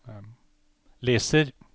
leser